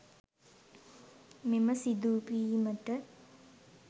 මෙම සිදුවීමට